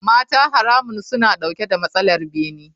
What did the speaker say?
Mata haramun suna dauke da matsalar bene.